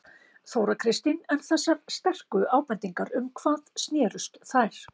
Þóra Kristín: En þessar sterku ábendingar um hvað snérust þær?